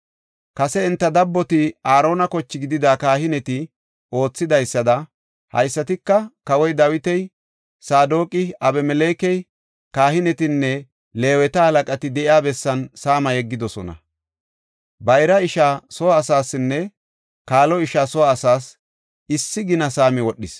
Kase enta dabboti Aarona koche gidida kahineti oothidaysada haysatika kawoy Dawiti, Saadoqi, Abimelekey, kahinetanne Leeweta halaqati de7iya bessan saama yeggidosona. Bayraa ishaa soo asaasinne kaalo ishaa soo asaas issi gina saami wodhis.